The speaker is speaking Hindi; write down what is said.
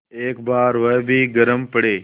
एक बार वह भी गरम पड़े